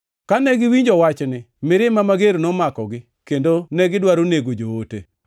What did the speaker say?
Kane giwinjo wachni, mirima mager nomakogi, kendo negidwaro nego joote.